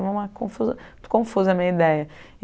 confusa confusa a minha ideia.